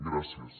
gràcies